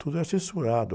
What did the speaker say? Tudo era censurado.